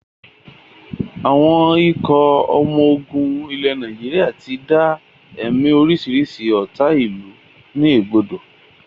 Àwọn ikọ̀ ọmọ ogun ilẹ̀ Nàìjíríà tí dá ẹ̀mí orisirisi ọ́ta ìlú ni ẹ̀gbodò